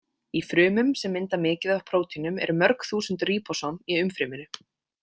Í frumum sem mynda mikið af prótínum eru mörg þúsund ríbósóm í umfryminu.